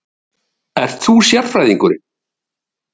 Erla: Ert þú sérfræðingurinn?